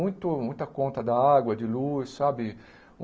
Muito muita conta da água, de luz, sabe?